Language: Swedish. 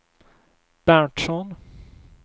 Berntsson